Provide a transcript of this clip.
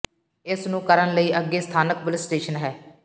ਇਸ ਨੂੰ ਕਰਨ ਲਈ ਅੱਗੇ ਸਥਾਨਕ ਪੁਲਿਸ ਸਟੇਸ਼ਨ ਹੈ